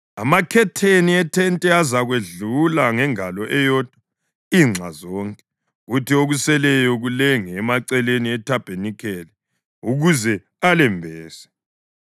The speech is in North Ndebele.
Amakhetheni ethente azakwedlula ngengalo eyodwa inxa zonke, kuthi okuseleyo kulenge emaceleni ethabanikeli ukuze alembese.